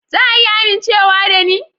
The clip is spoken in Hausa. Za a iya amincewa da ni?